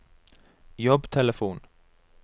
jobbtelefon